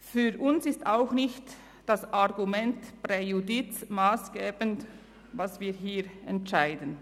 Für uns ist auch nicht das Argument des «Präjudiz» massgebend für das, was wir hier entscheiden.